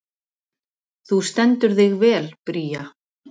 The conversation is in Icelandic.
Þú stendur þig vel, Bría!